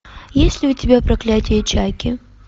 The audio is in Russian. есть ли у тебя проклятие чайки